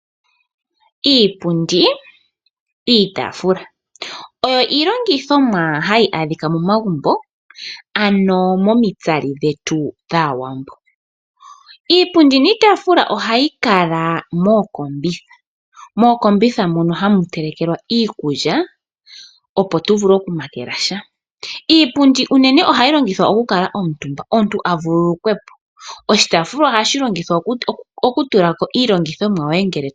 Iipundi niitaafula oyo iilongithomwa hayi adhika momagumbo, ano momitsali dhetu dAawambo. Ohayi kala mookombitha . Mookombitha muno ohamu telekelwa iikulya , opo tuvule okumakela sha. Iipundi unene ohayi longithwa okukala omutumba, omuntu avululukwepo , oshitaafula ohashi longithwa okutetenkwa iilongithomwa.